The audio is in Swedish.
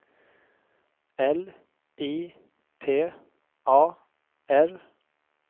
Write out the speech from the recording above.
L I T A R